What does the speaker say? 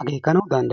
akeekanaw danddayees.